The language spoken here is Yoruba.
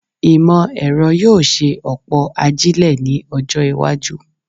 Ìmọ̀-ẹ̀rọ yóò ṣe ọ̀pọ̀ ajílẹ̀ ní ọjọ́-iwájú.